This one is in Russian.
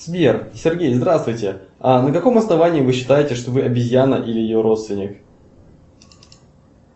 сбер сергей здравствуйте а на каком основании вы считаете что вы обезьяна или ее родственник